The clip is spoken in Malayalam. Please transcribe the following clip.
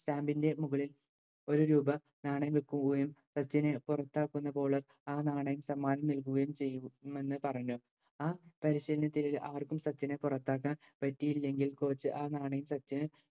stand ൻറെ മുകളിൽ ഒരു രൂപ നാണയം വെക്കുകയും സച്ചിനെ പുറത്താക്കുന്നപോലെ ആ നാണയം നൽകുകയും ചെയ്തു ആ പരിശീലനത്തിൽ ആർക്കും സച്ചിനെ പുറത്താക്കാൻ പറ്റിയില്ലെങ്കിൽ coach ആ നാണയം സച്ചിന്